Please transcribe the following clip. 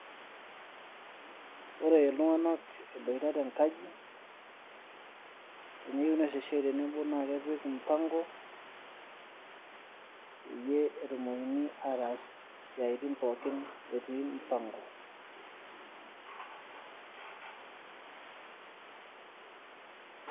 Ore iltung'anak eboita tenkaji, teneyieu neas esiai tenebo na kepik mpango ,peyie etumokini ataas isiaitin pookin etii mpango.